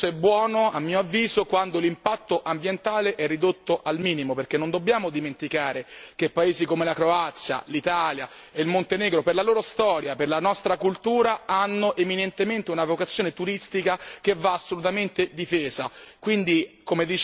Assolutamente ma il compromesso è buono a mio avviso quando l'impatto ambientale è ridotto al minimo, perché non dobbiamo dimenticare che paesi come la Croazia, l'Italia e il Montenegro, per la loro storia, per la nostra cultura, hanno eminentemente una vocazione turistica che va assolutamente difesa.